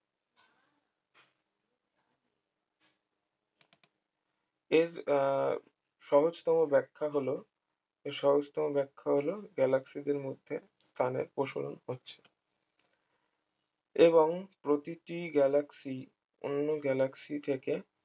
এর আহ সহজতম ব্যাখ্যা হল এর সহজতম ব্যাখ্যা হল galaxy দের টানের প্রসারণ হচ্ছে এবং প্রতিটি galaxy অন্য galaxy থেকে